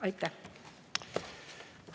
Aitäh!